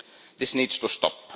This needs to stop.